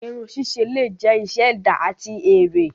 Irun sise le jẹ iṣẹ ẹda ati ere.